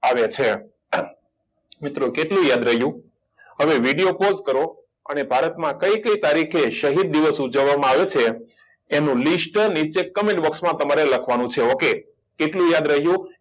આવે છે અર મિત્રો કેટલું યાદ રયું હવે video pause કરો અને ભારત માં કય કય તારીખે શહિંદ દિવસ તરીકે ઉજવવામાં આવે છે એનું list તમારે નીચે comment box માં લખવાનું છે okay કેટલું યાદ રાખ્યું